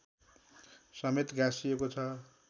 समेत गाँसिएको छ